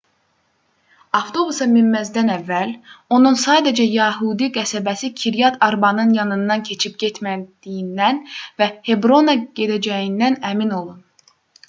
avtobusa minməzdən əvvəl onun sadəcə yəhudi qəsəbəsi kiryat arbanın yanından keçib getmədiyindən və hebrona gedəcəyindən əmin olun